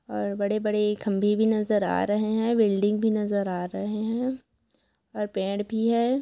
और बड़े बड़े खंबे भी नजर आ रहे हैं बिल्डिंग भी नजर आ रहे हैं और पेड़ भी है।